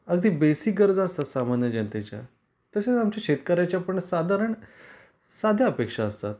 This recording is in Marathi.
अगदी बेसिक गरजा असतात सामान्य जनतेच्या. तश्याच आमच्या शेतकऱ्यांच्या पण साधारण साध्या अपेक्षा असतात.